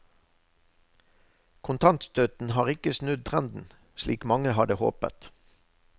Kontantstøtten har ikke snudd trenden, slik mange hadde håpet.